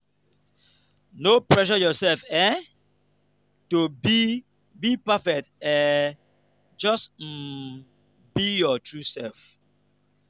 no pressure yourself um to be be perfect um just um be your true self.